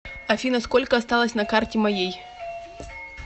афина сколько осталось на карте моей